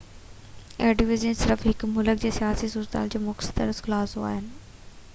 ايڊوائيزريون صرف هڪ ملڪ جي سياسي صورتحال جو مختصر خلاصو آهن